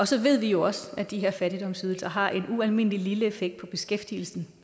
så ved vi jo også at de her fattigdomsydelser har en ualmindelig lille effekt på beskæftigelsen